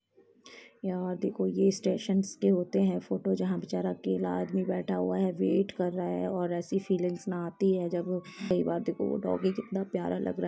यहाँ देखो ये स्टेशन्स के होते हैं फोटो जहाँ बेचारा अकेला आदमी बैठा हुआ है वेट कर रहा है और ऐसी फीलिंग्स ना आती है जब कई बार देखो वो डोगी कितना प्यारा लग रहा है।